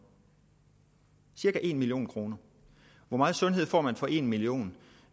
cirka en million kroner hvor meget sundhed får man for en million